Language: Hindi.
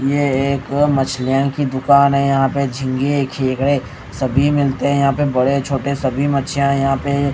यह एक मछलीयन की दुकान है यहां पे झींगे खेखड़े सभी मिलते हैं यहां पे बड़े छोटे सभी मच्छियां हैं यहां पे--